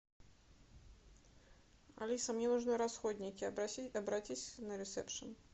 алиса мне нужны расходники обратись на ресепшен